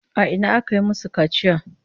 A ina aka yi masu kaciya?